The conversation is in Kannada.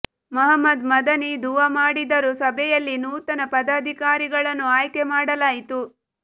ಮಹಮ್ಮದ್ ಮದನಿ ದುಆ ಮಾಡಿದರು ಸಭೆಯಲ್ಲಿ ನೂತನ ಪದಾಧಿಕಾರಿಗಳನ್ನು ಆಯ್ಕೆ ಮಾಡಲಾಯಿತು